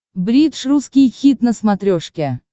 бридж русский хит на смотрешке